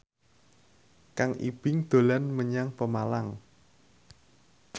Kang Ibing dolan menyang Pemalang